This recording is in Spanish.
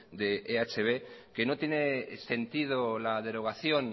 de ehb que no tiene sentido la derogación